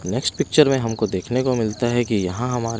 next picture में हमको देखने को मिलता है कि यहाँ हम--